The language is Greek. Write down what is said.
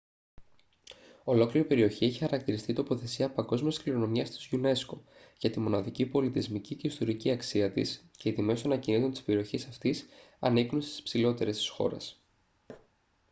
ολόκληρη η περιοχή έχει χαρακτηριστεί τοποθεσία παγκόσμιας κληρονομιάς της unesco για τη μοναδική πολιτισμική και ιστορική αξία της και οι τιμές των ακινήτων της περιοχής αυτής ανήκουν στις υψηλότερες της χώρας